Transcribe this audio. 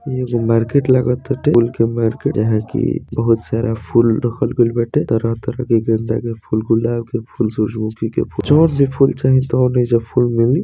ये मार्केट लागताटे। फूल की मार्केट । यहां की बहोत सारा फूल रखल गइल बाटे तरह-तरह के। गेंदा के फूल गुलाब के फूल सूरजमुखी के फूल। जउन भी फूल चाही तोन एहीजा फूल मिली।